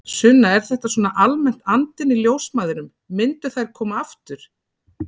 Sunna: Er þetta svona almennt andinn í ljósmæðrum, myndu þær koma aftur?